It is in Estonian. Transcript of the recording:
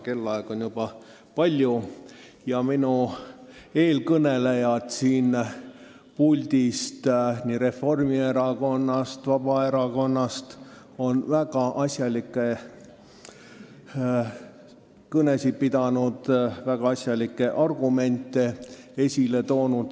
Kellaaeg on juba palju ja eelkõnelejad nii Reformierakonnast kui ka Vabaerakonnast on väga asjalikke kõnesid pidanud, väga asjalikke argumente esitanud.